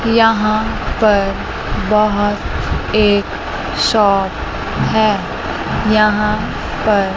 यहां पर बाहर एक शॉप है यहां पर--